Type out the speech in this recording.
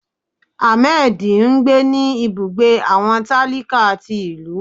Hamedí ńgbé ní ibùgbé awọn talíká tí ilú.